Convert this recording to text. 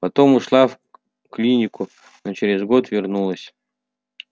потом ушла в клинику но через год вернулась